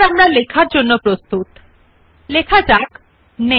সুতরাং numbering type style দেত্তয়া দ্বিতীয় স্টাইল উপর আমাদের অধীনে ক্লিক করুন